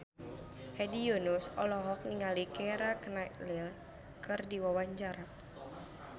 Hedi Yunus olohok ningali Keira Knightley keur diwawancara